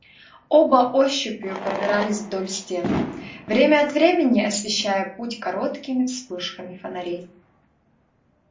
оба ощупью пробирались вдоль стен время от времени освещая путь короткими вспышками фонарей